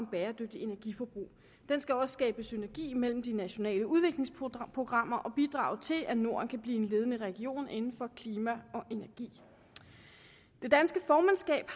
bæredygtigt energiforbrug den skal også skabe synergi mellem de nationale udviklingsprogrammer og bidrage til at norden kan blive en ledende region inden for klima og energi det danske formandskab